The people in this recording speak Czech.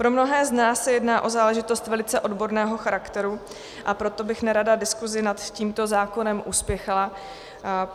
Pro mnohé z nás se jedná o záležitost velice odborného charakteru, a proto bych nerada diskuzi nad tímto zákonem uspěchala.